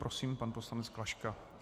Prosím, pan poslanec Klaška.